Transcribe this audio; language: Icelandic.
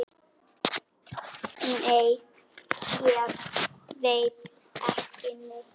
Nei, ég veit ekki neitt.